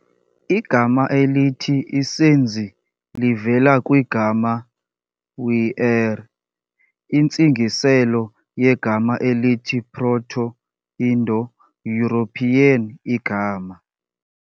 Igama elithi isenzi livela kwigama "w"ere-", intsingiselo yegama elithi Proto-Indo-European "igama".